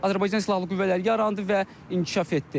Azərbaycan silahlı qüvvələri yarandı və inkişaf etdi.